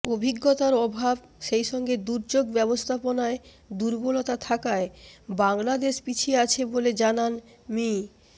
অভিজ্ঞতার অভাব সেইসঙ্গে দুর্যোগ ব্যবস্থাপনায় দুর্বলতা থাকায় বাংলাদেশ পিছিয়ে আছে বলে জানান মি